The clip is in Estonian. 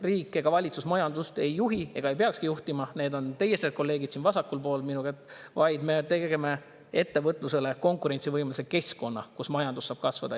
Riik ega valitsus majandust ei juhi ega peakski juhtima – need on teie kolleegid siin vasakul pool –, vaid me teeme ettevõtlusele konkurentsivõimelise keskkonna, kus majandus saab kasvada.